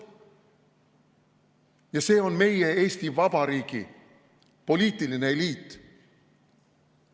Ja see on meie, Eesti Vabariigi poliitiline eliit.